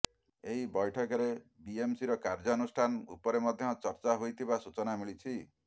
ଏହିବୈଠକରେ ବିଏମସିର କାର୍ଯ୍ୟାନୁଷ୍ଠାନ ଉପରେ ମଧ୍ୟ ଚର୍ଚା ହୋଇଥିବା ସୂଚନା ମିଳିଛି